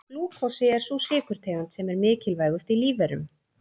Glúkósi er sú sykurtegund sem er mikilvægust í lífverum.